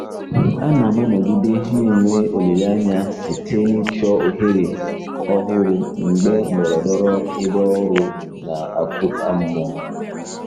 Ana m anọgide na-enwe olileanya site n'ịchọ ohere ọhụrụ mgbe ndọrọndọrọ ebe ọrụ na-akụda mmụọ.